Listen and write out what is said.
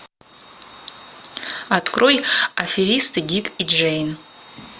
открой аферисты дик и джейн